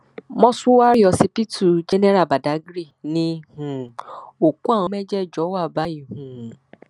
Mọ́ṣúárì ọsibítù general badágry ni um òkú àwọn mẹjẹẹjọ wà báyìí um